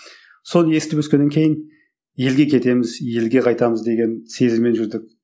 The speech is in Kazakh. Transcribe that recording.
соны естіп өскеннен кейін елге кетеміз елге қайтамыз деген сезіммен жүрдік